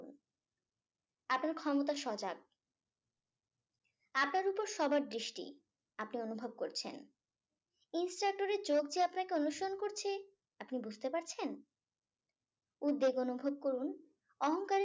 আপনার ক্ষমতা সজাগ সবার দৃষ্টি আপনি অনুভব করছেন insert door এ যে চোখ আপনাকে অনুসরণ করছে আপনি বুঝতে পারছেন? উদ্বেগ অনুভব করুন অহংকার